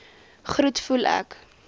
groet voel ek